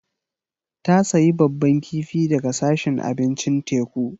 Ta sayi babban kifi daga sashin abincin teku.